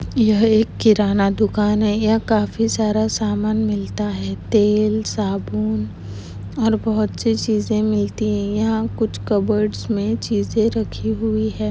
यह एक किराना दुकान है यहाँ काफी सारा समान मिलता है तेल साबुन और बहुतसी चिजे मिलती है यहाँ कुछ कबोर्ड मे चीजे रखी हुई है।